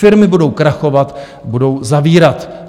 Firmy budou krachovat, budou zavírat.